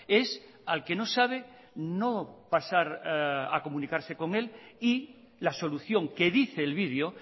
es al que no sabe no pasar a comunicarse con él y la solución que dice el vídeo